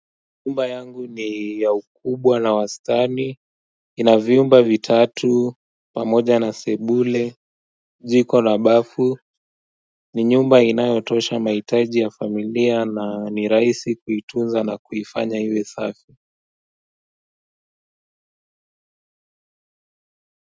Nyumba yangu ni ya ukubwa na wastani, inavyumba vitatu, pamoja na sebule, njiko la bafu, ni nyumba inayotosha mahitaji ya familia na ni rahisi kuitunza na kufanya iwe safi.